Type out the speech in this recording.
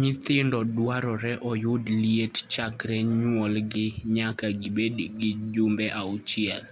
Nyithindo dwarore oyud liet chakre nyuolgi nyaka gibed gi jumbe auchiel,